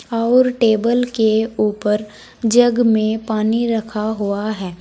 और टेबल के ऊपर जग में पानी रखा हुआ है।